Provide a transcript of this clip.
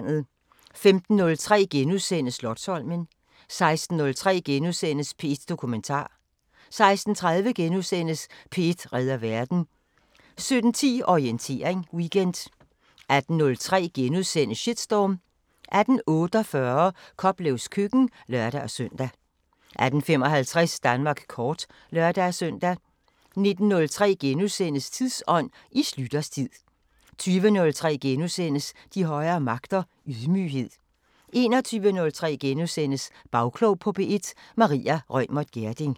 15:03: Slotsholmen * 16:03: P1 Dokumentar * 16:30: P1 redder verden * 17:10: Orientering Weekend 18:03: Shitstorm * 18:48: Koplevs køkken (lør-søn) 18:55: Danmark kort (lør-søn) 19:03: Tidsånd: I Schlüters tid * 20:03: De højere magter: Ydmyghed * 21:03: Bagklog på P1: Maria Reumert Gjerding *